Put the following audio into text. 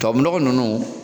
Tubabu nɔgɔ ninnu